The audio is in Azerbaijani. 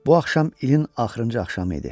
Bu axşam ilin axırıncı axşamı idi.